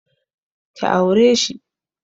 Ki aure shi!